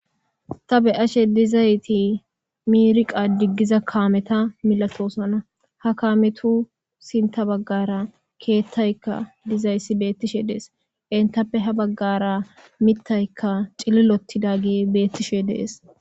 ta beashe dizayti miirqa diggiza kaameta milatoosana ha kaametu sinta baggara keettaykka dizayssi beettishe dees entappe ha baggara mittaykka cililotidage beettishe dees